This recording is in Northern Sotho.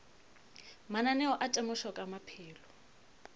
mananeo a temošo ka maphelo